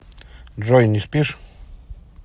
джой не спишь